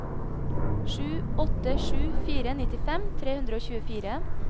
sju åtte sju fire nittifem tre hundre og tjuefire